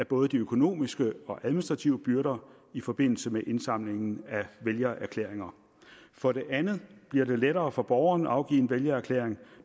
både de økonomiske og administrative byrder i forbindelse med indsamlingen af vælgererklæringer for det andet bliver det lettere for borgerne at afgive en vælgererklæring